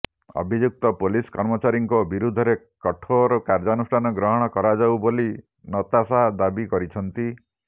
ଅଭିଯୁକ୍ତ ପୋଲିସ କର୍ମଚାରୀଙ୍କ ବିରୋଧରେ କଠୋର କାର୍ଯ୍ୟାନୁଷ୍ଠାନ ଗ୍ରହଣ କରାଯାଉ ବୋଲି ନତାଶା ଦାବି କରିଛନ୍ତି